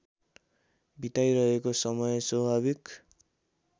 बिताइरहेको समय स्वाभाविक